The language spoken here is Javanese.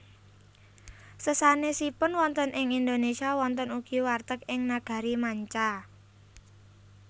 Sesanèsipun wonten ing Indonesia wonten ugi warteg ing nagari manca